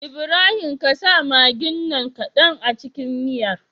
Ibrahim ƙasa maggin nan kadan a cikin miyar